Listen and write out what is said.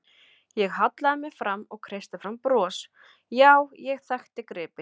Ég hallaði mér fram og kreisti fram bros, já, ég þekkti gripinn.